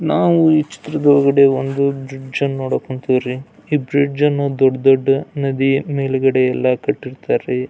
ನಾವು ಈ ಚಿತ್ರದೊಳಗಡೆ ಒಂದು ಬ್ರಿಡ್ಜ್ ಅನ್ನ ನೋಡೋಕ್ ಹೊಂಟಿವ್ ರೀ ಈ ಬ್ರಿಡ್ಜ್ ಅನ್ನದೊಡ್ಡ್ ದೊಡ್ಡ್ ನದಿ ಮೇಲ್ಗಡೆ ಎಲ್ಲ ಕಟ್ಟಿರ್ತಾರ್ ರೀ--